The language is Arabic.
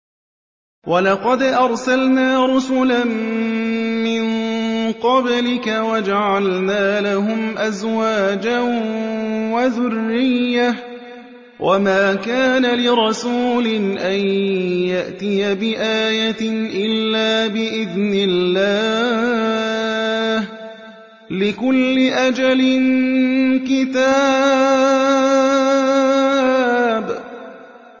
وَلَقَدْ أَرْسَلْنَا رُسُلًا مِّن قَبْلِكَ وَجَعَلْنَا لَهُمْ أَزْوَاجًا وَذُرِّيَّةً ۚ وَمَا كَانَ لِرَسُولٍ أَن يَأْتِيَ بِآيَةٍ إِلَّا بِإِذْنِ اللَّهِ ۗ لِكُلِّ أَجَلٍ كِتَابٌ